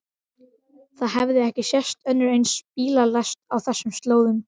Það hafði ekki sést önnur eins bílalest á þessum slóðum.